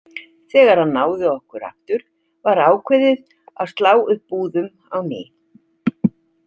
Þegar hann náði okkur aftur var ákveðið að slá upp búðum á ný.